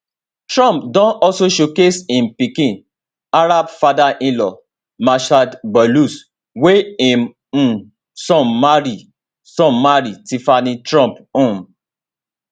trump don also showcase im pikin arab fatherinlaw massad boulous wey im um son marry son marry tiffany trump um